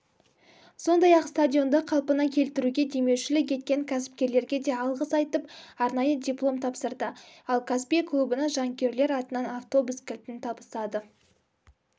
сондай-ақ стадионды қалпына келтіруге демеушілк еткен кәспкерлерге де алғыс айтып арнайы диплом тапсырды ал каспий клубына жанкүйерлер атынан автобус кілтін табыстады